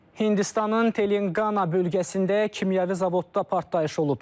Hindistanın Telangana bölgəsində kimyəvi zavodda partlayış olub.